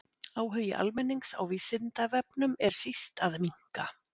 Áhugi almennings á Vísindavefnum er síst að minnka.